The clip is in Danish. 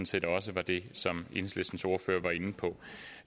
set også var det som enhedslistens ordfører var inde på